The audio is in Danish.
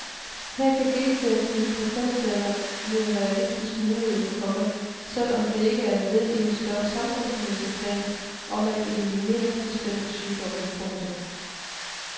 Her kan genterapi på kønsceller blive en realistisk mulighed, komma selv om det ikke er led i en større samfundsmæssig plan om at eliminere bestemte sygdomme. punktum